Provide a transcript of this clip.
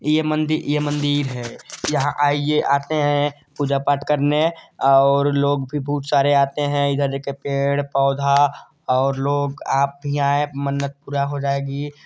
ये मंदि ये मंदिर है यहाँ आइए आते है पूजा पाठ करने और लोग भी बहुत सारे आते है इधर देखिए और पेड़-पौधा और लोग आप भी आये मन्नत पूरा हो जाएगी--